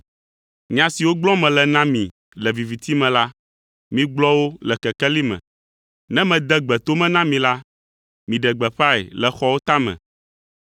“Nya siwo gblɔm mele na mi le viviti me la, migblɔ wo le kekeli me. Ne mede gbe to me na mi la, miɖe gbeƒãe le xɔwo tame.